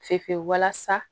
Fe fe fe walasa